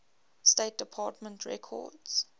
state department records